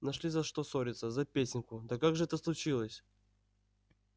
нашли за что ссориться за песенку да как же это случилось